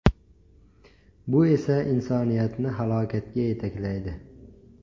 Bu esa insoniyatni halokatga yetaklaydi.